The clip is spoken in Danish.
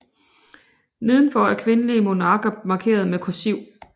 Nedenfor er kvindelige monarker markeret med kursiv